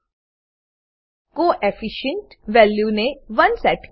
co efficient coefficient value ને 1 set કરો